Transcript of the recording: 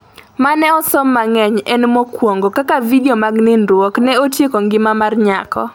mane osom mangeny en mokuongo ,Kaka vidio mag nindruok ne otieko ngima mar nyako